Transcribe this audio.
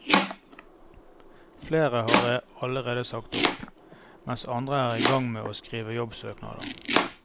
Flere har allerede sagt opp, mens andre er i gang med å skrive jobbsøknader.